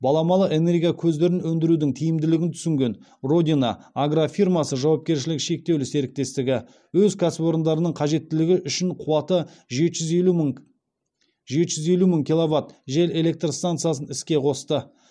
баламалы энергия көздерін өндірудің тиімділігін түсінген родина агрофирмасы жауапкершілігі шектеулі серіктестігі өз кәсіпорындарының қажеттілігі үшін қуаты жеті жүз елу мың жеті жүз елу мың киловатт жел электр стансасын іске қосты